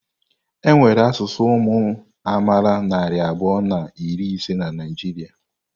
Enwere asụsụ ụmụ amaala narị abụọ na iri ise na Naịjirịa.